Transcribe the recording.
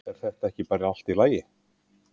Er þetta ekki bara allt í lagi?